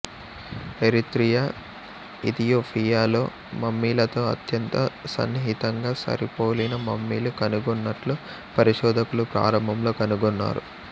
Eritrea ఇథియోపియాలో మమ్మీలతో అత్యంత సన్నిహితంగా సరిపోలిన మమ్మీలు కనుగొన్నట్లు పరిశోధకులు ప్రారంభంలో కనుగొన్నారు